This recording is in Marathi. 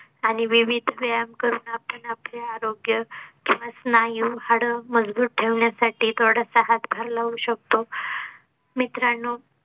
आणि विविध व्यायाम करून आपण आपले आरोग्य व स्नायू हाडं मजबूत ठेवण्या साठी थोडासा हातभार लावू शकतो